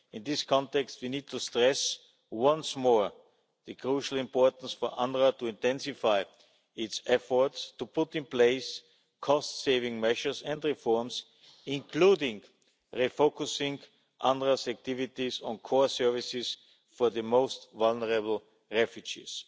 In this context, we need to stress once more the crucial importance for UNRWA to intensify its efforts to put in place cost saving measures and reforms, including refocusing UNRWA's activities on core services for the most vulnerable refugees.